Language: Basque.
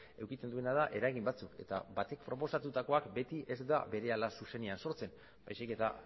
edukitzen duena da eragin batzuk eta batek proposatutakoak beti ez da berehala zuzenean sortzen baizik eta